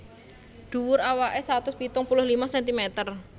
Dhuwur awaké satus pitung puluh lima sentimeter